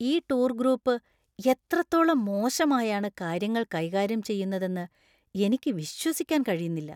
ഈ tour group എത്രത്തോളം മോശമായാണ് കാര്യങ്ങൾ കൈകാര്യം ചെയ്യുന്നതെന്ന് എനിക്ക് വിശ്വസിക്കാൻ കഴിയുന്നില്ല.